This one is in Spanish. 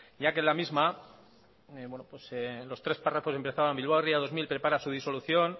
ya que la misma bueno los tres párrafos empezaban bilbao ría dos mil prepara su disolución